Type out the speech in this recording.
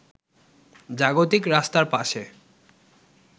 জাগতিক রাস্তার পাশে